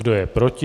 Kdo je proti?